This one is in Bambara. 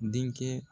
Denkɛ